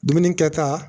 Dumuni kɛta